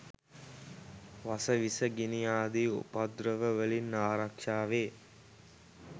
වස විස, ගිනි ආදි උපද්‍රව වලින් ආරක්‍ෂාවේ.